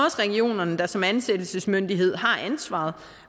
regionerne der som ansættelsesmyndighed har ansvaret